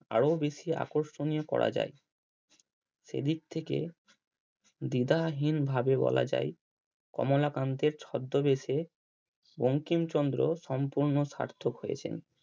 আরো বেশি আকর্ষণীয় করা যায় সে দিক থেকে দ্বিদারহীন ভাবে বলা যায় কমলা কান্তের ছদ্দবেশে বঙ্কিমচন্দ্র সম্পূর্ণ স্বার্থক হয়েছেন।